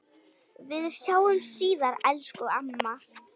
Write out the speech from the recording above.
Við sjáumst síðar, elsku amma.